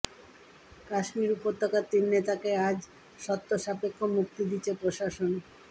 কাশ্মীর উপত্যকার তিন নেতাকে আজ শর্তসাপেক্ষ মুক্তি দিচ্ছে প্রশাসন